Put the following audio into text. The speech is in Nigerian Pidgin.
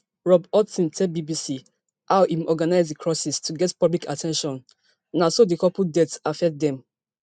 rob hoatson tell bbc how im organize di crosses to get public at ten tion na so di couple death affect dem